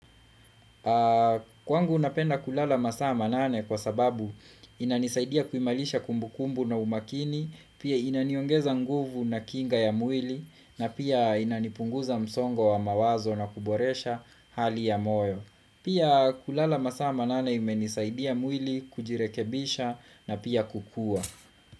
Kwangu napenda kulala masaa manane kwa sababu inanisaidia kuimarisha kumbukumbu na umakini pia inaniongeza nguvu na kinga ya mwili na pia inanipunguza msongo wa mawazo na kuboresha hali ya moyo Pia kulala masaa manane imenisaidia mwili kujirekebisha na pia kukua.